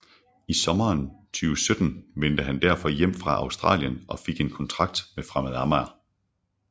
I sommeren 2017 vendte han derfor hjem fra Australien og fik en kontrakt med Fremad Amager